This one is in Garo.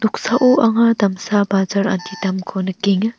noksao anga damsa bajar anti damko nikenga.